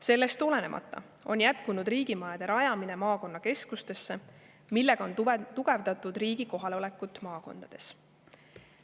Sellest olenemata on jätkunud riigimajade rajamine maakonnakeskustesse, millega on tugevdatud riigi kohalolekut maakondades.